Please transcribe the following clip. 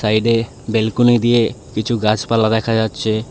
সাইডে ব্যালকনি দিয়ে কিছু গাছপালা দেখা যাচ্ছে।